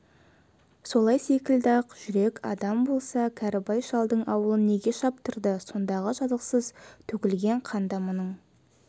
солай секілді ақ жүрек адам болса кәрібай шалдың аулын неге шаптырды сондағы жазықсыз төгілген қанда мұның